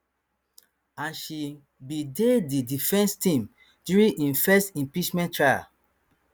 and she bin dey di defence team during im first impeachment trial